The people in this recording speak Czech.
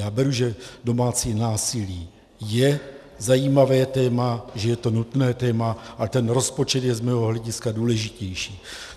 Já beru, že domácí násilí je zajímavé téma, že je to nutné téma, ale ten rozpočet je z mého hlediska důležitější.